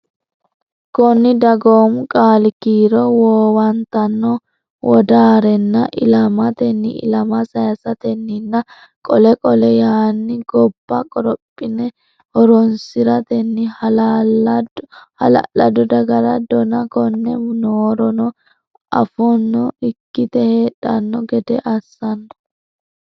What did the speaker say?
Koni dagoomu qaali kiiro Woowantano wodaarena ilamatenni ilama saysatenninna qole qole Yaane gobba qorophina horonsi ratenni hala lado dagara dona Konne noorono affona ikkite heedhanno gede assanno.